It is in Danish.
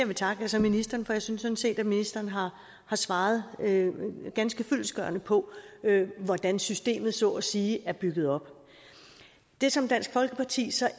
vil takke er så ministeren for jeg synes sådan set ministeren har svaret ganske fyldestgørende på hvordan systemet så at sige er bygget op det som dansk folkeparti